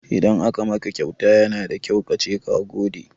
Idan aka maka kyauta yana da kyau kace ka gode.